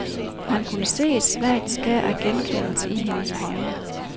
Han kunne se et svagt skær af genkendelse i hendes øjne.